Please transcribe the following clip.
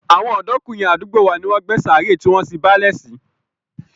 Àwọn ọ̀dọ́kùnrin àdúgbò wa ló gbé sàárè tí wọ́n sin báálẹ̀ sí